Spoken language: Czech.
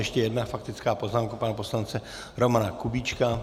Ještě jedna faktická poznámka pana poslance Romana Kubíčka.